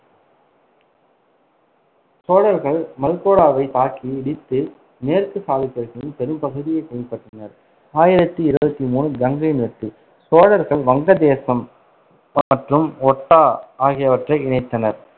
சோழர்கள் மல்கோடாவைத் தாக்கி இடித்து மேற்கு சாளுக்கியர்களின் பெரும்பகுதியைக் கைப்பற்றினர் ஆயிரத்தி இருவத்தி மூணு கங்கையின் வெற்றிசோழர்கள் வங்கதேசம் மற்றும் ஒட்டா ஆகியவற்றை இணைத்தனர்.